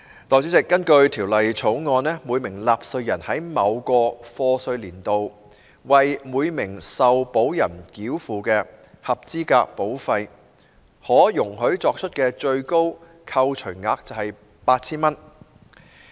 代理主席，根據《條例草案》，每名納稅人在某課稅年度，為每名受保人繳付的合資格保費可容許作出的最高扣除額為 8,000 元。